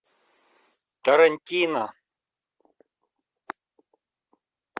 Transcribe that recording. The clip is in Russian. тарантино